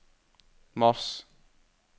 mars